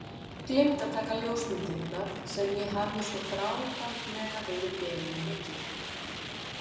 Gleymdi að taka ljósmyndirnar sem ég hafði svo þráfaldlega verið beðinn um að gera.